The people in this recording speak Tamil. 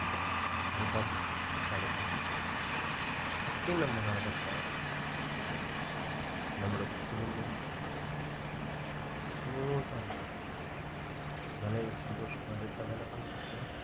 அதுதான் புத்திசாலித்தனம் இப்படி நம்ம நடந்துக்கினா நம்மோட குடும்பம் smooth ஆ நல்லா இருக்கும் மனைவி சந்தோஷமா வீட்டுல வேலை பண்ணின்னு இருக்கலாம்